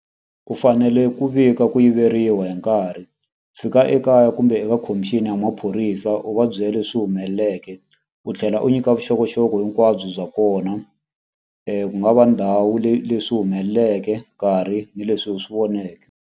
U fanele ku vika ku yiveriwa hi nkarhi. Fika ekaya kumbe eka commission ya maphorisa u va byela leswi humeleleke. U tlhela u nyika vuxokoxoko hinkwabyo bya kona. Ku nga va ndhawu leyi leswi humeleleke, nkarhi, ni leswi u swi voneke.